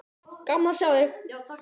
Gaman að sjá þig.